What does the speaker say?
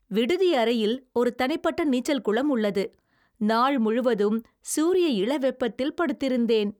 விடுதி அறையில் ஒரு தனிப்பட்ட நீச்சல் குளம் உள்ளது. நாள் முழுவதும் சூரிய இள வெப்பத்தில் படுத்திருந்தேன்.